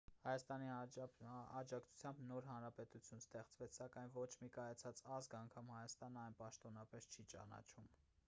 հայաստանի աջակցությամբ նոր հանրապետություն ստեղծվեց սակայն ոչ մի կայացած ազգ անգամ հայաստանը այն պաշտոնապես չի ճանաչում